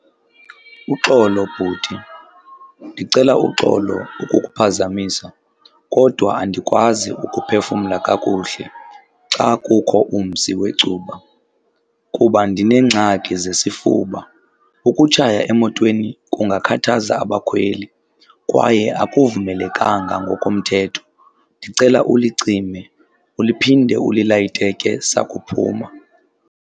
Uxolo bhuti, ndicela uxolo ukukuphazamisa kodwa andikwazi ukuphefumla kakuhle xa kukho umsi wecuba kuba ndineengxaki zesifuba. Ukutshaya emotweni kungakhathaza abakhweli kwaye akuvumelekanga ngokomthetho. Ndicela ulicime uliphinde ulilayite ke sakuphuma.